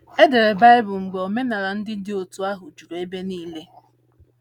E dere Baịbụl mgbe omenala ndị dị otú ahụ juru ebe niile